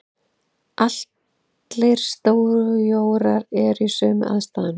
Allir stjórar eru í sömu aðstæðunum.